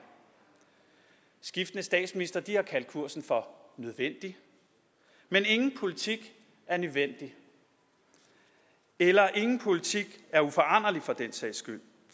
skiftende statsministre har kaldt kursen for nødvendig men ingen politik er nødvendig eller ingen politik er uforanderlig for den sags skyld